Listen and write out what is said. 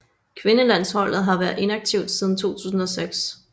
Kvindelandsholdet har været inaktivt siden 2006